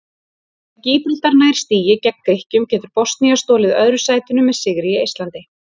Ef Gíbraltar nær stigi gegn Grikkjum getur Bosnía stolið öðru sætinu með sigri í Eistlandi.